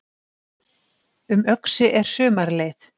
Um Öxi er sumarleið